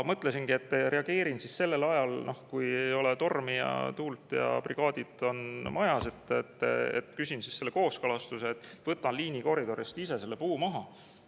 Mõtlesingi, et reageerin siis sellel ajal, kui ei ole tormi ja tuult ja brigaadid on majas, küsin selle kooskõlastuse, et võtan liinikoridorist ise selle puu maha.